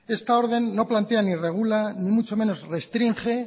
esta orden no plantea ni regula ni mucho menos restringe